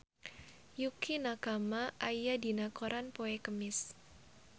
Yukie Nakama aya dina koran poe Kemis